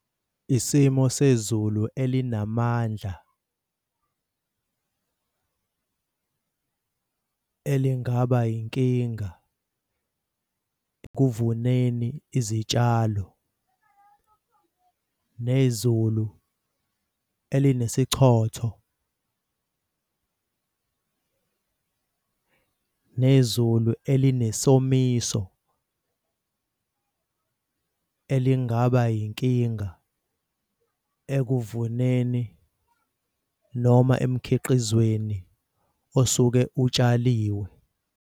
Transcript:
Isimo sezulu elinamandla elingaba yinkinga ekuvuneni izitshalo. Nezulu elinesichotho. Nezulu elinesomiso elingaba yinkinga ekuvuneni noma emkhiqizweni osuke utshaliwe.